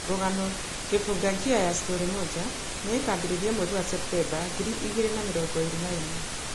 Rũgano 'Kifunganjia ya Story Moja nĩ ĩkaambĩrĩria mweri wa ceptemba ngiri igĩrĩ na mĩrongo ĩrĩ na ĩmwe